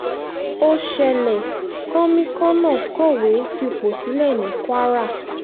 ó ṣẹlẹ̀ kọ́míkànnà kọ̀wé fipò sílẹ̀ ní kwara